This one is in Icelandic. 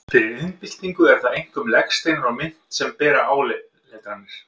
Fyrir iðnbyltingu eru það einkum legsteinar og mynt sem bera áletranir.